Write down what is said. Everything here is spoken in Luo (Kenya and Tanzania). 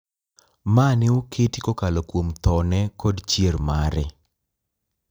Ma ne oketi kokalo kuom thone kod chier mare.